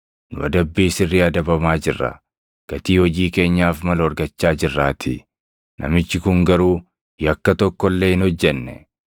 Nu adabbii sirrii adabamaa jirra; gatii hojii keenyaaf malu argachaa jirraatii. Namichi kun garuu yakka tokko illee hin hojjenne.”